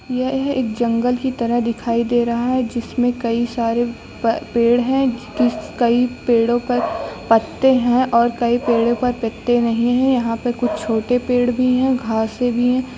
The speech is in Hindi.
यह एक जंगल की तरह दिखाई दे रहा है जिसमें कई सारे पेड़ हैं कई पेड़ों पर पत्ते हैं और कई पेड़ों पर पत्ते नहीं है यहां पर कुछ छोटे पेड़ भी हैं और घासें भी हैं।